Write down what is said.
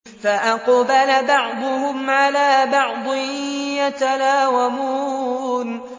فَأَقْبَلَ بَعْضُهُمْ عَلَىٰ بَعْضٍ يَتَلَاوَمُونَ